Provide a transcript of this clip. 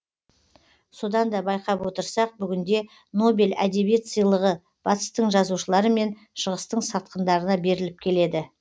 содан да байқап отырсақ бүгінде нобель әдебиет сыйлығы батыстың жазушылары мен шығыстың сатқындарына беріліп келеді